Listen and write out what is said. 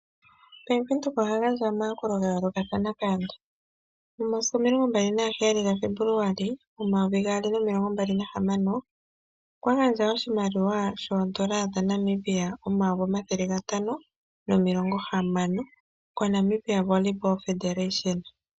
Bank Windhoek oha gandja omayakulo ga yoolokathana kaantu. Momasiku omilongo mbali naga heyali gaFebruali, omayovi gaali nomilongo mbali nahamano okwa gandja oshimaliwa shoondola dhaNamibia omayovi omathele gatano nomilongo hamano koNamibia Volleyball Federation.